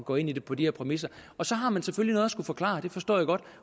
gå ind i det på de her præmisser og så har man selvfølgelig noget at skulle forklare det forstår jeg godt